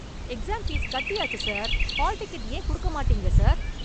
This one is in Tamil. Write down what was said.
எக்ஸாம் ஃபீஸ் கட்டியாச்சு சார். ஹால்டிக்கட் ஏன் குடுக்க மாட்டீங்க சார்?